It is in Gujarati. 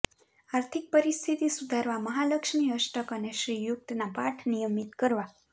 આર્થિક પરિસ્થિતિ સુધારવા મહાલક્ષ્મી અષ્ટક અને શ્રી યુક્તના પાઠ નિયમિત કરવા